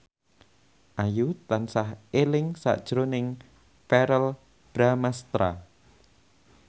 Ayu tansah eling sakjroning Verrell Bramastra